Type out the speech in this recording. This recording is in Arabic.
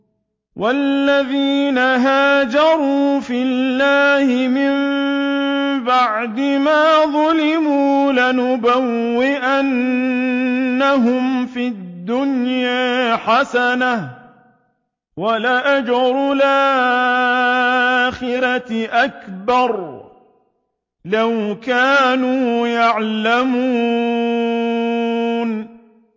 وَالَّذِينَ هَاجَرُوا فِي اللَّهِ مِن بَعْدِ مَا ظُلِمُوا لَنُبَوِّئَنَّهُمْ فِي الدُّنْيَا حَسَنَةً ۖ وَلَأَجْرُ الْآخِرَةِ أَكْبَرُ ۚ لَوْ كَانُوا يَعْلَمُونَ